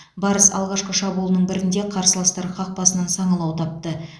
барыс алғашқы шабуылының бірінде қарсыластар қақпасынан саңылау тапты